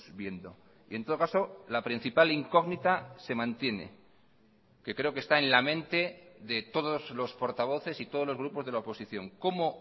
viendo y en todo caso la principal incógnita se mantiene que creo que está en la mente de todos los portavoces y todos los grupos de la oposición cómo